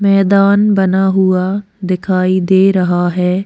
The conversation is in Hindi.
मैदान बना हुआ दिखाई दे रहा है।